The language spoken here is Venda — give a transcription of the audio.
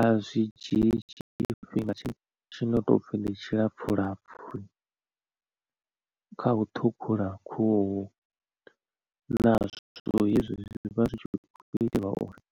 A zwi dzhii tshifhinga tshino topfi ndi tshilapfu lapfu kha u ṱhukhula khuhu na zwithu hezwi zwi vha zwi tshi kho itelwa uri